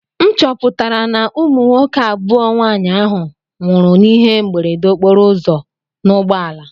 M chọpụtara na ụmụ nwoke abụọ nwaanyị ahụ nwụrụ n'ihe mberede okporoụzọ n'ụgbọala.